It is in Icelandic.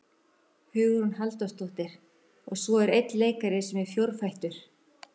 Hugrún Halldórsdóttir: Og svo er einn leikari sem er fjórfættur?